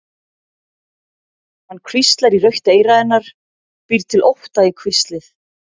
Hann hvíslar í rautt eyra hennar, býr til ótta í hvíslið.